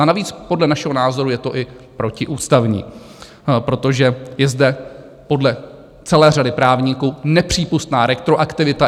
A navíc podle našeho názoru je to i protiústavní, protože je zde podle celé řady právníků nepřípustná retroaktivita.